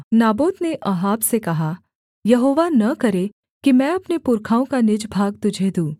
Naboth ने Ahab से कहा यहोवा न करे कि मैं अपने पुरखाओं का निज भाग तुझे दूँ